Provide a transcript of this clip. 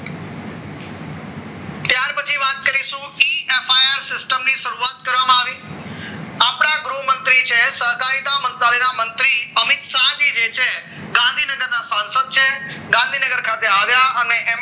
system ની શરૂઆત કરવામાં આવી આપણા ગૃહ મંત્રી છે સર કાયદા એના મંત્રી અમિત શાહ જી છે ગાંધીનગર છે ગાંધીનગર ખાતે આવ્યા અને એમને